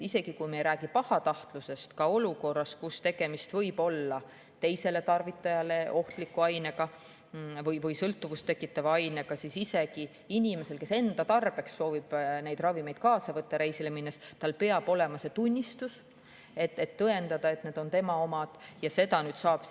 Isegi kui me ei räägi pahatahtlusest, siis olukorras, kus tegemist võib olla teisele tarvitajale ohtliku ainega või sõltuvust tekitava ainega, peab isegi inimesel, kes enda tarbeks soovib neid ravimeid reisile minnes kaasa võtta, olema see tunnistus, millega tõendada, et need on tema omad.